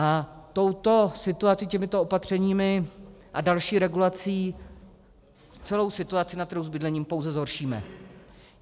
A touto situací, těmito opatřeními a další regulací celou situaci na trhu s bydlením pouze zhoršíme.